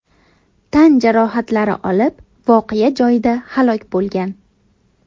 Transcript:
tan jarohatlari olib, voqea joyida halok bo‘lgan.